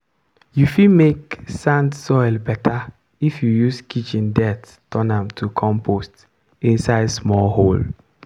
you fit make make sand soil better if you use kitchen dirt turn am to compost inside small hole.